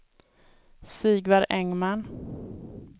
Sigvard Engman